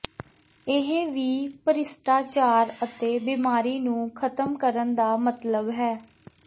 ਇਹ ਵੀ ਭ੍ਰਿਸ਼ਟਾਚਾਰ ਅਤੇ ਬੀਮਾਰੀ ਨੂੰ ਖ਼ਤਮ ਕਰਨ ਦਾ ਮਤਲਬ ਹੈ